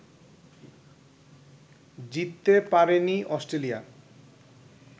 জিততে পারেনি অস্ট্রেলিয়া